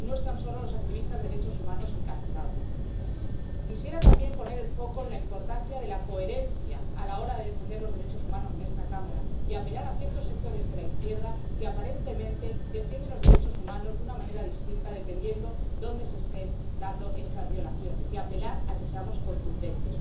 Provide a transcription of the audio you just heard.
Y no están solos los activistas de derechos humanos encarcelados. Quisiera también poner el foco en la importancia de la coherencia a la hora de defender los derechos humanos en esta Cámara y apelar a ciertos sectores de la izquierda que, aparentemente, defienden los derechos humanos de una manera distinta dependiendo de dónde se estén dando estas violaciones, y apelar a que seamos contundentes.